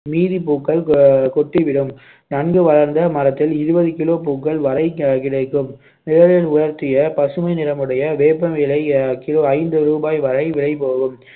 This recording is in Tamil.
மீதி பூக்கள் அஹ் கொட்டி விடும். நன்கு வளர்ந்த மரத்தில் இருபது kilo பூக்கள் வரை கிடைக்கும் நிழலில் உலர்த்திய பசுமை நிறமுடைய வேப்ப இலை கிலோ ஐந்து ரூபாய் வரை விலைபோகும்